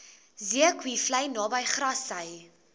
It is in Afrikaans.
zeekoevlei naby grassy